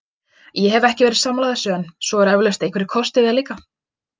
Ég hef ekki verið sammála þessu en svo eru eflaust einhverjir kostir við það líka.